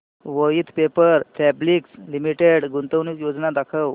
Voith paper fabrics limited गुंतवणूक योजना दाखव